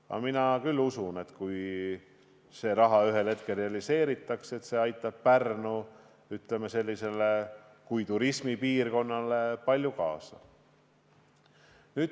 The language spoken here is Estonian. Aga mina küll usun, et kui see raha ühel hetkel realiseeritakse, aitab see Pärnule kui turismipiirkonnale palju kaasa.